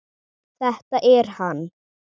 Þetta er hann.